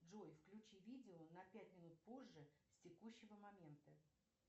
джой включи видео на пять минут позже с текущего момента